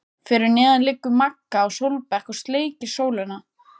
Fyrir neðan liggur Magga á sólbekk og sleikir sólina.